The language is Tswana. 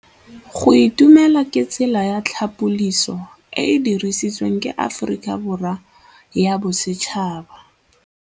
Go itumela ke tsela ya tlhapolisô e e dirisitsweng ke Aforika Borwa ya Bosetšhaba.